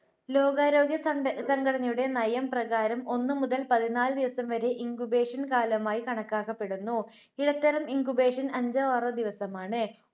ലോകാരോഗ്യ സംഘ~സംഘടനയുടെ നയം പ്രകാരം ഒന്ന് മുതൽ പതിനാല് ദിവസം വരെ incubation കാലമായി കണക്കാക്കപ്പെടുന്നു. ഇടത്തരം incubation അഞ്ചോ ആറോ ദിവസമാണ്.